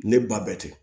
Ne ba bɛ ten